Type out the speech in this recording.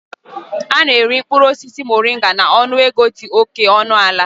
A na-ere mkpụrụ osisi Moringa na ọnụego dị oke ọnụ ala